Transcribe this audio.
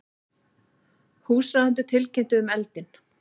Húsráðendur tilkynntu um eldinn